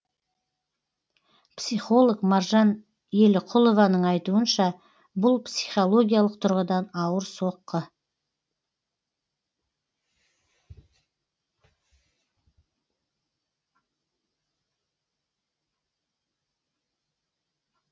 психолог маржан еліқұлованың айтуынша бұл психологиялық тұрғыдан ауыр соққы